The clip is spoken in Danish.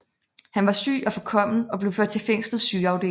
Han var syg og forkommen og blev ført til fængslets sygeafdeling